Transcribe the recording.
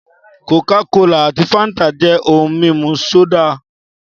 Kòká kolà àti Fáńtà jẹ́ ohun mímu sódà